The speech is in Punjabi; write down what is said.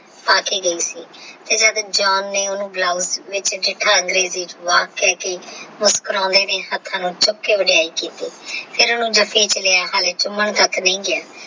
ਆ ਕੇ ਗਈ ਸੀ ਤੇ ਜਦ ਜਾਣ ਲਈ ਉਹਨੂੰ ਬਲੋਜ਼ ਵਾਹ ਕਹਿਕੇ ਮੁਸਕੁਰਾਉਂਦੇ ਫੇਰ ਉਹਨੂੰ ਜਫੀ ਵਿੱਚ ਲਿਆ ਹਾਲੇ ਚੁੰਮਣ ਤੱਕ ਨਹੀਂ ਗਿਆ।